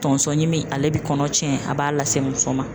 Tonso ɲimi ale bi kɔnɔ tiɲɛ a b'a lase muso ma.